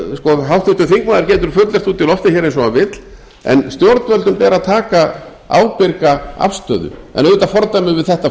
og háttvirtur þingmaður getur fullyrt hér út í loftið eins og hann vill en stjórnvöldum ber að taka ábyrga afstöðu en auðvitað fordæmum við þetta flug